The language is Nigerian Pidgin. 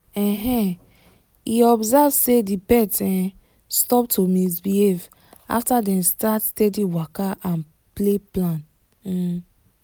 um he observe say the pet um stop to misbehave after dem start steady waka and play plan. um